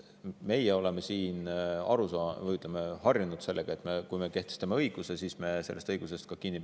Meie oleme siin aru saanud või, ütleme, harjunud sellega, et kui me kehtestame õigus, siis me peame sellest ka kinni.